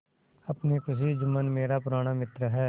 अपनी खुशी जुम्मन मेरा पुराना मित्र है